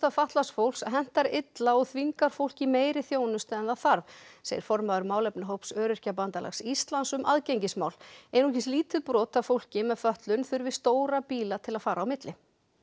fatlaðs fólks hentar illa og þvingar fólk í meiri þjónustu en það þarf segir formaður málefnahóps Öryrkjabandalags Íslands um aðgengismál einungis lítið brot af fólki með fötlun þurfi stóra bíla til að fara á milli